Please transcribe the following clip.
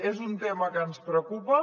és un tema que ens preocupa